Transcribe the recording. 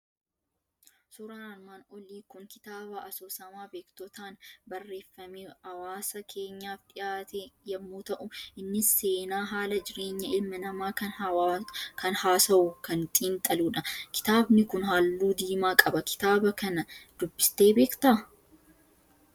Suuraan armaan olii Kun, kitaaba asoosamaa beektotaan barreeffame hawaasa keenyaaf dhihaate yemmuu ta'u, innis seenaa haala jireenya ilma namaa kan haasawuu kan xiinxaludha. Kitaabni Kun halluu diimaa qaba. Kitaaba kana dubbistee beekta?